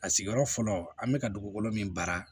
A sigiyɔrɔ fɔlɔ an bɛ ka dugukolo min baara